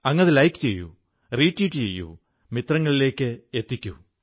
അങ്ങ് അത് ലൈക് ചെയ്യൂ റീട്വീറ്റ് ചെയ്യൂ മിത്രങ്ങളിലേക്കെത്തിക്കൂ